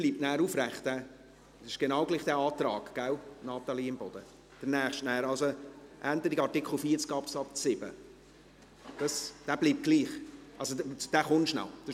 Bleibt Ihr Antrag zum nächsten Artikel, also auf Änderung von Artikel 40 Absatz 7, bestehen, Grossrätin Imboden, und Sie kommen noch dazu?